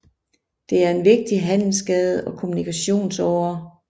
Det er en vigtig handelsgade og kommunikationsåre